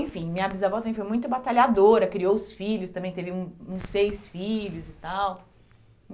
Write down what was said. Enfim, minha bisavó também foi muito batalhadora, criou os filhos, também teve um uns seis filhos e tal.